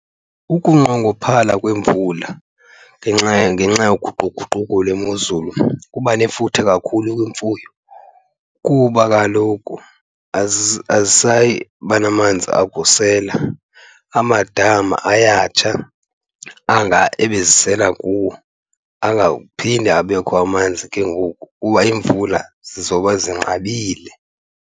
Ukunqongophala kwemvula ngenxa , ngenxa yoguquguquko lwemozulu kuba nefuthe kakhulu kwimfuyo kuba kaloku azisayi kuba namanzi akusela. Amadama ayatsha anga ebezisela kuwo, angaphindi abekho amanzi ke ngoku kuba iimvula zizobe zinqabile.